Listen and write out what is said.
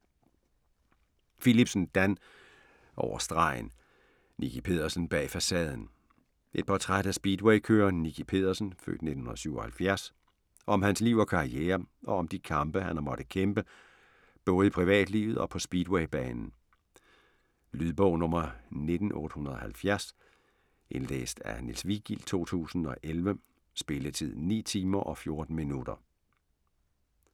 Philipsen, Dan: Over stregen: Nicki Pedersen bag facaden Et portræt af speedwaykøreren Nicki Pedersen (f. 1977), om hans liv og karriere og om de kampe han har måttet kæmpe, både i privatlivet og på speedwaybanen. Lydbog 19870 Indlæst af Niels Vigild, 2011. Spilletid: 9 timer, 14 minutter.